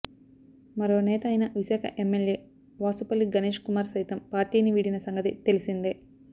మరో నేత అయిన విశాఖ ఎమ్మెల్యే వాసుపల్లి గణేష్ కుమార్ సైతం పార్టీని వీడిన సంగతి తెలిసిందే